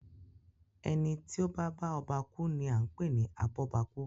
Ẹni tí o ba bá ọba ku ni a n pe ni Abọ́bakú.